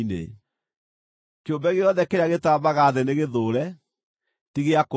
“ ‘Kĩũmbe gĩothe kĩrĩa gĩtambaga thĩ nĩgĩthũũre; ti gĩa kũrĩĩo.